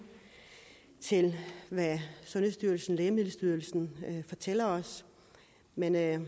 til hvad sundhedsstyrelsen lægemiddelstyrelsen fortæller os men jeg